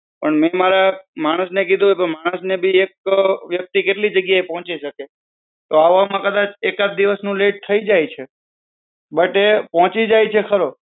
પણ મેં મારા માણસ ને કીધું હતું પણ માણસ એક વ્યક્તિ કેટલી જગ્યાએ પોહચી શકે તો આવામાં કદાચ એકાદ દિવસ નું late થઇ જાય છે. but એ પોહચી જાય છે ખરો.